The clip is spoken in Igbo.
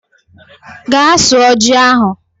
Gaa sụọ ji ahụ